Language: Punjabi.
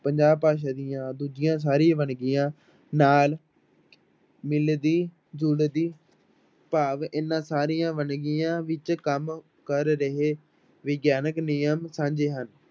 ਪੰਜਾਬ ਭਾਸ਼ਾ ਦੀਆਂ ਦੂਜੀਆਂ ਸਾਰੀ ਵੰਨਗੀਆਂ ਨਾਲ ਮਿਲਦੀ ਜੁਲਦੀ ਭਾਵ ਇਹਨਾਂ ਸਾਰੀਆਂ ਵੰਨਗੀਆਂ ਵਿੱਚ ਕੰਮ ਕਰ ਰਹੇ ਵਿਗਿਆਨਕ ਨਿਯਮ ਸਾਂਝੇ ਹਨ।